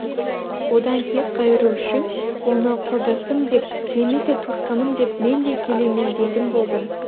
одан кек қайыру үшін оны құрдасым деп немесе туысқаным деп мен де келемеждейтін болдым